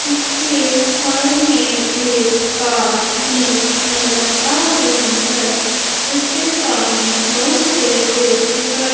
उसके साइड में एक कार भी नजर आ रही है उसके सामने बहुत से पेड़ दिखाई--